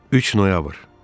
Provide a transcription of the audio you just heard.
3 noyabr.